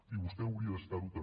i vostè hauria d’estar ho també